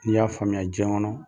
N'i y'a faamuya jiɲɛ kɔnɔ